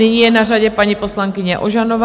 Nyní je na řadě paní poslankyně Ožanová.